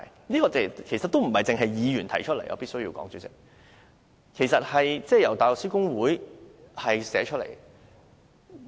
主席，我必須指出，這不單是議員提出來的，其實是由香港大律師公會提出來的。